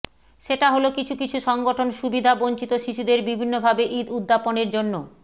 সেটা হলো কিছু কিছু সংগঠন সুবিধাবঞ্চিত শিশুদের বিভিন্নভাবে ঈদ উদ্যাপনের জন্য